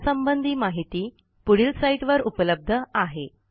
यासंबंधी माहिती पुढील साईटवर उपलब्ध आहे